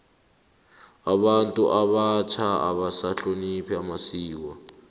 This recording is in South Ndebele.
abantu abatjha abasahlonophi amasiko